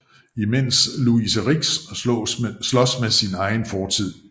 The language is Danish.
Imens Louise Ricks slås med sin egen fortid